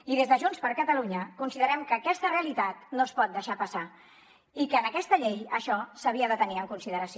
i des de junts per catalunya considerem que aquesta realitat no es pot deixar passar i que en aquesta llei això s’havia de tenir en consideració